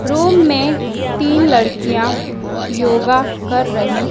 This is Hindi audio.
रूम में तीन लड़कियां योगा कर रही--